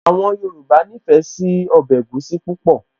Àwọn Yorùbá nífẹ̀ẹ́ sí ọbẹ̀ egusi púpọ̀